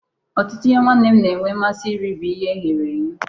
Ọtụtụ ihe nwanne m na-enwe mmasị iri bụ ihe eghere eghe.